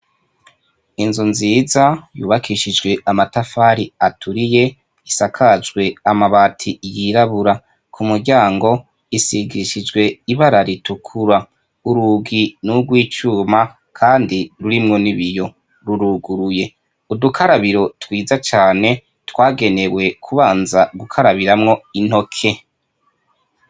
Inzu nziza yubakishijwe amatafari aturiye, isakajwe amabati yirabura. Ku muryango, isigishijwe ibara ritukura. Urugi ni urw'icuma, kandi rurimwo n'ibiyo. Ruruguruye. Udukarabiro twiza cane twagenewe kubanza gukarabiramwo intoke.